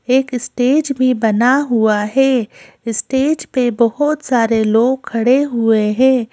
एक स्टेज भी बना हुआ है स्टेज पे बहुत सारे लोग खड़े हुए हैं।